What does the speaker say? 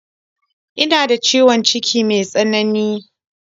Ina da ciwon ciki me tsanani.